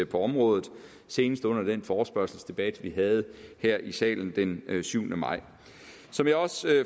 på området senest under den forespørgselsdebat vi havde her i salen den syvende maj som jeg også